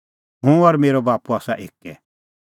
हुंह और मेरअ बाप्पू आसा एक्कै